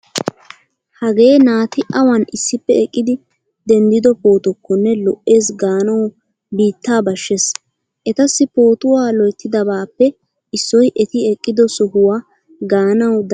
Hagee naati awan issippe eqqidi denddido pootokkonne lo'ees gaanawu biittaa bashshees. Etassi pootuwa loyttidabaappe issoy eti eqqido sohuwa gaanawu danddayettees.